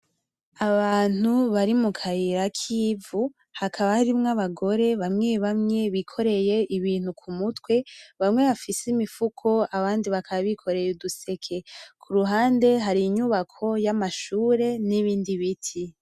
Abantu bari mukayira kivu, hakaba harimwo abagore, bamwe bikoreye ibintu kumutwe, bamwe bafise imifuko, abandi bakaba bikoreye uduseke. Kuruhande harinyubako yamashure nibindi biti.